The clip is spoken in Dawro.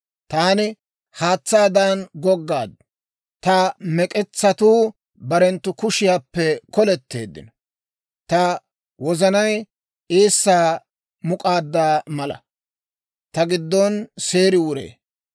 Taani haatsaadan goggaad; ta mek'etsatuu barenttu kuushshaappe koletteeddino. Ta wozanay eessaa muk'aaddaa mala, ta giddon seeri wuree.